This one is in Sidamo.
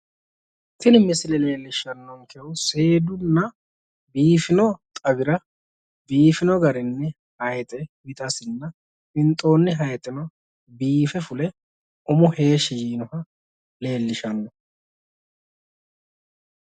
Tini misile leellishannohu seedunna biifino xawira biifino garinni hayixe wixasinna winxoonni hayixi biife fule umo heeshi yiinoha leellishanno